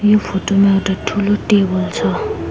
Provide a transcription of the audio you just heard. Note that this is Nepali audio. यो फोटो मा एउटा ठूलो टेबल छ।